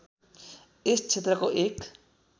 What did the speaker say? यस क्षेत्रको एक